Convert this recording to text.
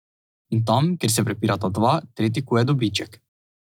In tam, kjer se prepirata dva, tretji kuje dobiček.